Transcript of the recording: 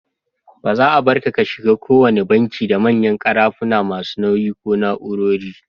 Ba za'a Barka ka shiga ko wanna banki da manyan karafuna masu nauyi ko na'urori.